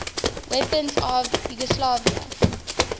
weapons of yugoslavia